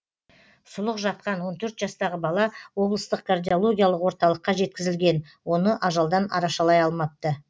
сұлық жатқан он төрт жастағы бала облыстық кардиологиялық орталыққа жеткізілген оны ажалдан арашалай алмапты